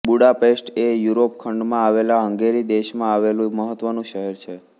Budapest એ Europe ખંડમાં આવેલા હંગેરી દેશમાં આવેલું મહત્વનું શહેર છે